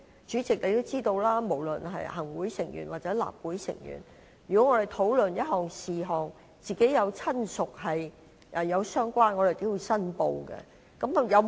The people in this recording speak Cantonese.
主席，你也知道，不論是行政會議成員或立法會議員在討論某一事項時，若有親屬從事相關行業，他們均須作出申報。